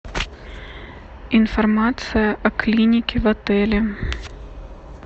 информация о клинике в отеле